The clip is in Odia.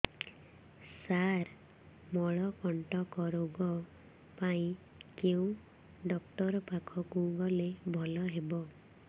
ସାର ମଳକଣ୍ଟକ ରୋଗ ପାଇଁ କେଉଁ ଡକ୍ଟର ପାଖକୁ ଗଲେ ଭଲ ହେବ